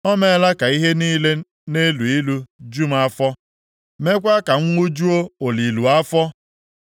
O meela ka ihe niile na-elu ilu ju m afọ, meekwa ka m ṅụjuo oluilu afọ.